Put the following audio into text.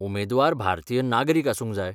उमेदवार भारतीय नागरीक आसूंक जाय.